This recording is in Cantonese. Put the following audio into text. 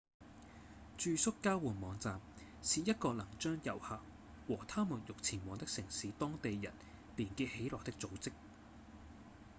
住宿交換網站是一個能將遊客和他們欲前往的城市當地人連結起來的組織